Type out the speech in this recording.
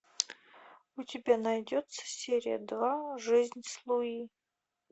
у тебя найдется серия два жизнь с луи